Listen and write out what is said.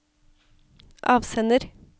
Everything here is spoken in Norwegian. avsender